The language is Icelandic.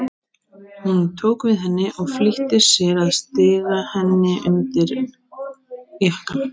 Hún tók við henni og flýtti sér að stinga henni undir jakkann.